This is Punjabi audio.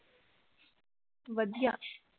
ਵਧੀਆਂ